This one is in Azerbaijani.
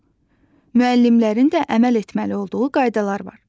Müəllimlərin də əməl etməli olduğu qaydalar var.